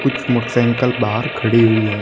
कुछ मोटरसाइकिल बाहर खड़ी हुई है।